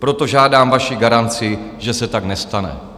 Proto žádám vaši garanci, že se tak nestane.